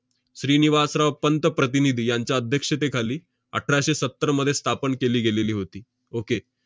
श्रीनिवासराव पंत प्रतिनिधी यांच्या अध्यक्षतेखाली अठराशे सत्तरमध्ये स्थापन केली गेलेली होती. okay